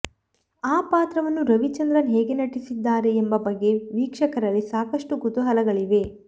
ಆ ಪಾತ್ರವನ್ನು ರವಿಚಂದ್ರನ್ ಹೇಗೆ ನಟಿಸಿದ್ದಾರೆ ಎಂಬ ಬಗ್ಗೆ ವೀಕ್ಷಕರಲ್ಲಿ ಸಾಕಷ್ಟು ಕುತೂಹಲಗಳಿವೆ